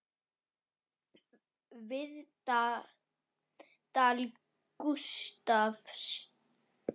Viðtal Gústafs